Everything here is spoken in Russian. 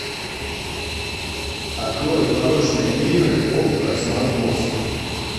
открой порочные игры окко смарт бокс